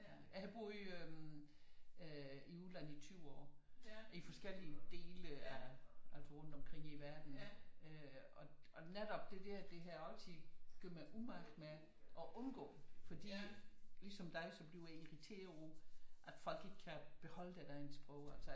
Jeg boede i øh udlandet i 20 år i forskellige dele af altså rundt omkring i verden øh og netop det der det har jeg altid gjort mig umage med og undgå fordi ligesom dig så bliver jeg irriteret over at folk ikke kan beholde deres egen sprog altså